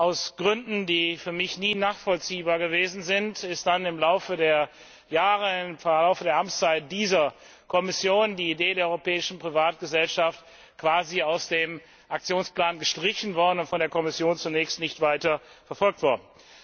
Aus Gründen, die für mich nie nachvollziehbar waren, ist dann im Laufe der Jahre, im Laufe der Amtszeit dieser Kommission, die Idee der Europäischen Privatgesellschaft quasi aus dem Aktionsplan gestrichen und von der Kommission zunächst nicht weiter verfolgt worden.